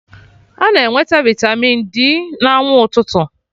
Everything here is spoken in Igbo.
A na-enweta vitamịn D na anwụ ụtụtụ